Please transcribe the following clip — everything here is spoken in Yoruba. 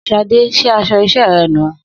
Sadé ṣe aṣọ iṣẹ́ rẹ̀ nùu